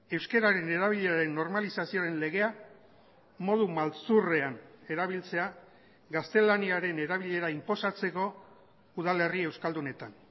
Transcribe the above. euskararen erabileraren normalizazioaren legea modu maltzurrean erabiltzea gaztelaniaren erabilera inposatzeko udalerri euskaldunetan